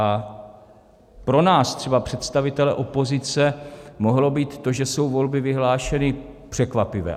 A pro nás třeba, představitele opozice, mohlo být to, že jsou volby vyhlášeny, překvapivé.